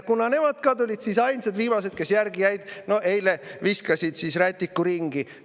Kuna nemad tulid, siis ka viimased, kes ainsana järele olid jäänud, viskasid eile rätiku ringi.